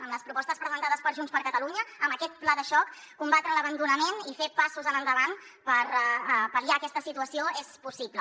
amb les propostes presentades per junts per catalunya amb aquest pla de xoc combatre l’abandonament i fer passos endavant per pal·liar aquesta situació és possible